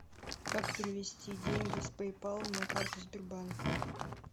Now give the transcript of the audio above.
как перевести деньги с пэйпал на карту сбербанка